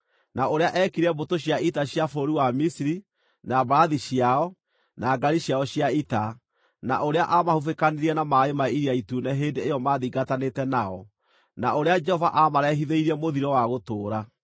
na ũrĩa eekire mbũtũ cia ita cia bũrũri wa Misiri, na mbarathi ciao, na ngaari ciao cia ita, na ũrĩa aamahubĩkanirie na maaĩ ma Iria Itune hĩndĩ ĩyo maathingatanĩte nao, na ũrĩa Jehova aamarehithĩirie mũthiro wa gũtũũra.